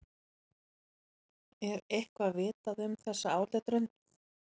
Er eitthvað vitað um þessa áletrun?